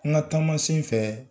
An ka taama sen fɛ